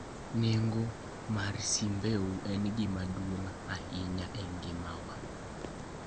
Nengo mar simbeu en gima duong' ahinya e ngimawa